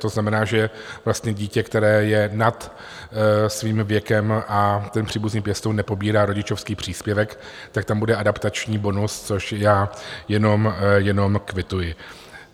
To znamená, že vlastně dítě, které je nad svým věkem, a ten příbuzný pěstoun nepobírá rodičovský příspěvek, tak tam bude adaptační bonus, což já jenom kvituji.